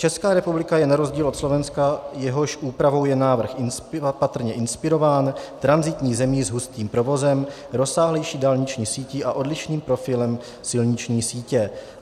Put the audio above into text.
Česká republika je na rozdíl od Slovenska, jehož úpravou je návrh patrně inspirován, tranzitní zemí s hustým provozem, rozsáhlejší dálniční sítí a odlišným profilem silniční sítě.